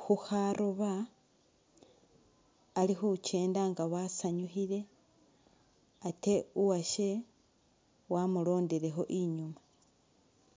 khu’kharoba ,ali khukyenda nga asanyukhile ate uwashe wamulondelekho nyuma.